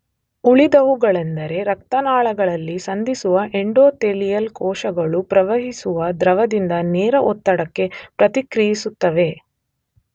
ಉಳಿದವುಗಳೆಂದರೆ ರಕ್ತ ನಾಳಗಳಲ್ಲಿ ಸಂಧಿಸುವ ಎಂಡೊಥೆಲಿಯಲ್ ಕೋಶಗಳು ಪ್ರವಹಿಸುವ ದ್ರವದಿಂದ ನೇರ ಒತ್ತಡಕ್ಕೆ ಪ್ರತಿಕ್ರಿಯಿಸುತ್ತವೆ.